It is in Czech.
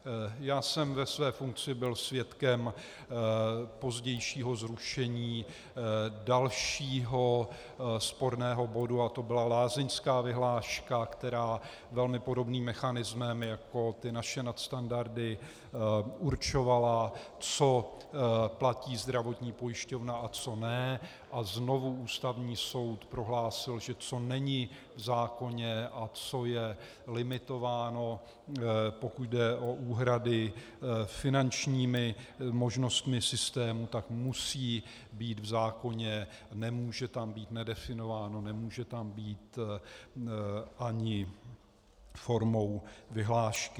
Já jsem ve své funkci byl svědkem pozdějšího zrušení dalšího sporného bodu a to byla lázeňská vyhláška, která velmi podobným mechanismem jako ty naše nadstandardy určovala, co platí zdravotní pojišťovna a co ne, a znovu Ústavní soud prohlásil, že co není v zákoně a co je limitováno, pokud jde o úhrady, finančními možnostmi systému, tak musí být v zákoně, nemůže tam být nedefinováno, nemůže tam být ani formou vyhlášky.